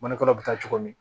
Mɔnikuru bɛ taa cogo di